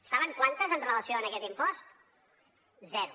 saben quantes amb relació en aquest impost zero